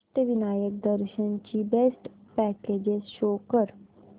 अष्टविनायक दर्शन ची best packages show कर